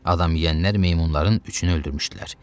Adam yeyənlər meymunların üçünü öldürmüşdülər.